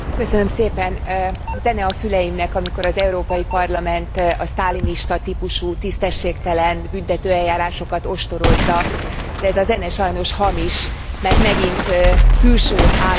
Zene a füleimnek, amikor az Európai Parlament a sztálinista típusú tisztességtelen büntetőeljárásokat ostorozza, de ez a zene sajnos hamis, mert megint külső államokat kritizál.